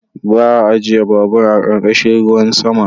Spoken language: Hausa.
Ba a ajiye babur a ƙarƙashin ruwan sama.